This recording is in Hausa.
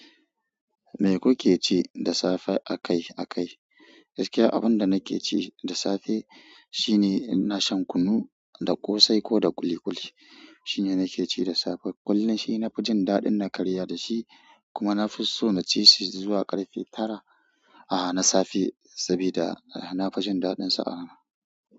Me kuke ci da safe a kai a kai? Gaskiya abin da nake ci da safe shine ina shan kunu da ƙosai ko da ƙuli ƙuli. Shine nake ci da safe. Kullum shina fi jin daɗin na karya da shi kuma na fi so na cishi zuwa ƙarfe tara a na safe saboda na fi jin daɗinsa a rana.